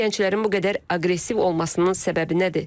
Bəs gənclərin bu qədər aqressiv olmasının səbəbi nədir?